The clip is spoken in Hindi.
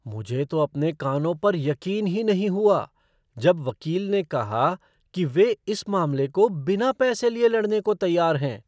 मुझे तो अपने कानों पर यकीन ही नहीं हुआ, जब वकील ने कहा कि वे इस मामले को बिना पैसे लिए लड़ने को तैयार हैं।